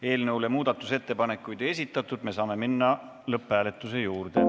Eelnõu kohta muudatusettepanekuid ei esitatud, me saame minna lõpphääletuse juurde.